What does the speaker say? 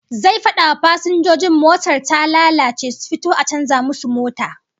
Zai fada wa fasinjojin motar ta lalace su fito a canza musu mota